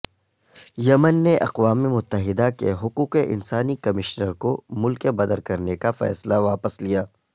یمن نے اقوام متحدہ کے حقوق انسانی کمشنر کو ملک بدرکرنے کا فیصلہ واپس لیا